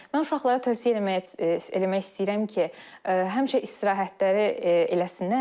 Mən uşaqlara tövsiyə eləmək eləmək istəyirəm ki, həmişə istirahətləri eləsinlər.